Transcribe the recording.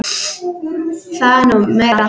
Það er nú meira.